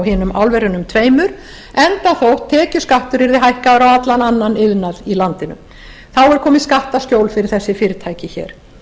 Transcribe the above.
hinum álverunum tveimur enda þótt tekjuskattur yrði hækkaður á allan annan iðnað í landinu þá er komið skattaskjól fyrir þessi fyrirtæki hér